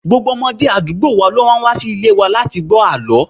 Gbogbo ọmọdé àdúgbò wa ló máa ń wa sí ilé wa láti gbó àlọ́.